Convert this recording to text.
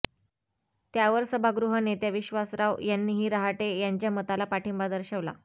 त्यावर सभागृह नेत्या विश्वासराव यांनीही रहाटे यांच्या मताला पाठिंबा दर्शवला